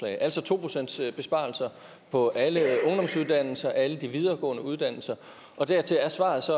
altså to pcts besparelser på alle ungdomsuddannelser alle de videregående uddannelser dertil er svaret så